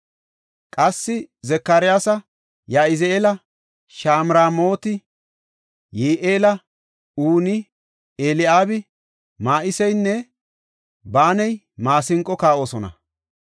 Qassi Zakariyasi, Ya7izi7eeli, Shamramooti, Yi7eeli, Uni, Eli7aabi, Ma7iseynne Banayi maasinqo kaa7oosona.